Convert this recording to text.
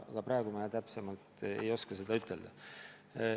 Aga praegu ma täpsemalt ei oska seda ütelda.